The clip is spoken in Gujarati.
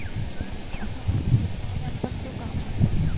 હા છોકરો ઓ ને આમ પણ શું કામ હોય